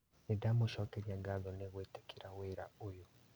Nĩndamũcokeria ngatho nĩ gwĩtĩkĩra wĩra ũyũ